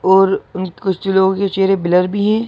और अ कुछ लोगों के चेहरे ब्लर भी हैं।